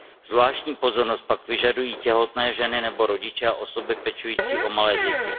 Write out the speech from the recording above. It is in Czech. Zvláštní pozornost pak vyžadují těhotné ženy nebo rodiče a osoby pečující o malé děti.